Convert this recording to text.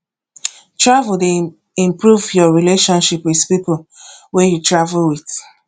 travel dey improve your relationship with people wey you travel with